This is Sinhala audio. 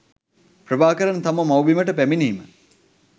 ප්‍රභාකරන් තම මව්බිමට පැමිණීම